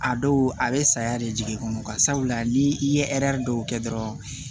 A dɔw a bɛ saya de jigin i kɔnɔ sabula ni i ye dɔw kɛ dɔrɔn